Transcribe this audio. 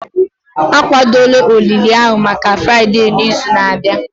akwadola olili ahụ maka Fraịde n'izu na-abịa